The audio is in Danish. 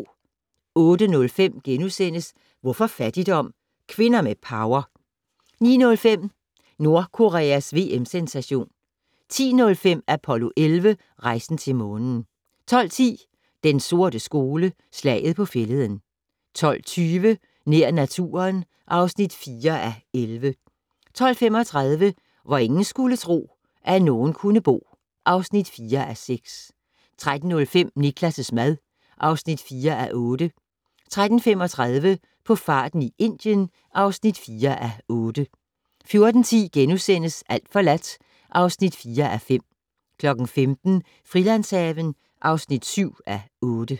08:05: Hvorfor fattigdom? - Kvinder med power * 09:05: Nordkoreas VM-sensation 10:05: Apollo 11 - Rejsen til Månen 12:10: Den sorte skole: Slaget på Fælleden 12:20: Nær naturen (4:11) 12:35: Hvor ingen skulle tro, at nogen kunne bo (4:6) 13:05: Niklas' mad (4:8) 13:35: På farten i Indien (4:8) 14:10: Alt forladt (4:5)* 15:00: Frilandshaven (7:8)